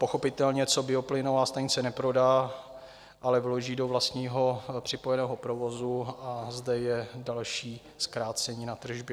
Pochopitelně co bioplynová stanice neprodá, ale vloží do vlastního připojeného provozu, a zde je další zkrácení na tržbě.